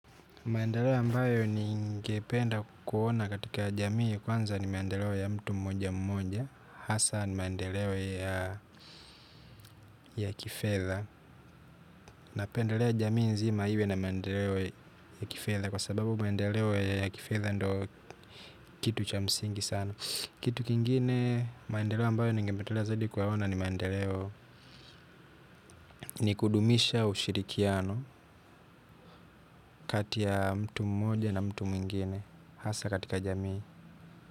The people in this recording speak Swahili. Maendeleo ambayo ningependa kuona katika jamii kwanza ni maendeleo ya mtu mmoja mmoja hasa ni maendeleo ya kifedha. Napendelea jamii nzima iwe na maendeleo ya kifedha kwa sababu maendeleo ya kifedha ndo kitu cha msingi sana. Kitu kingine maendeleo ambayo ningependelea zadi kuona ni maendeleo ni kudumisha ushirikiano kati ya mtu mmoja na mtu mwingine hasa katika jamii.